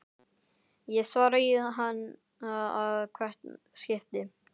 Ég svara í ann að hvert skipti.